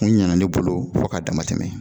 O ɲɛna ne bolo fo k'a dama tɛmɛ